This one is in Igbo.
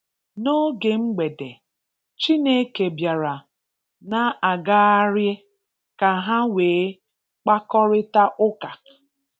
N'oge Mgbede, Chineke bịara na-agaharị ka ha nweé mkpakọrịta ụka.